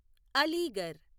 Aligarh